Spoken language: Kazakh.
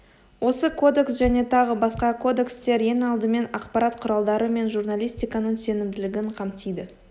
осы кодекс және тағы басқа кодекстер ең алдымен ақпарат құралдары мен журналистиканың сенімділігін қамтиды